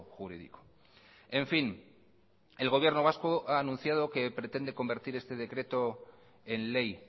jurídico en fin el gobierno vasco ha anunciado que pretende convertir este decreto en ley